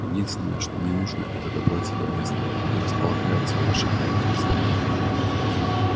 единственное что мне нужно это добраться до места где располагается ваше правительство